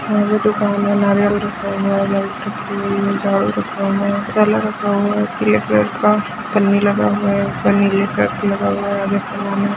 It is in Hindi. यहाँ पर दुकान है नारियल रखा हुआ है झाड़ू रखा हुआ है ठेला रखा हुआ है पीले कलर का पन्नी लगा हुआ है पन्नी में लगा हुआ है आगे से--